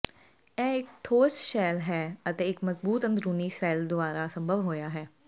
ਇਹ ਇੱਕ ਠੋਸ ਸ਼ੈੱਲ ਹੈ ਅਤੇ ਇੱਕ ਮਜ਼ਬੂਤ ਅੰਦਰੂਨੀ ਸ਼ੈੱਲ ਦੁਆਰਾ ਸੰਭਵ ਹੋਇਆ ਹੈ